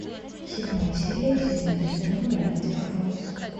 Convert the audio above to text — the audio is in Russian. седьмая серия седьмой сезон гравити фолз